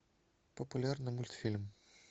популярный мультфильм